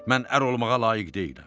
Mən ər olmağa layiq deyiləm.